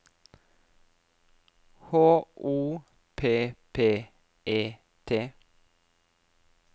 H O P P E T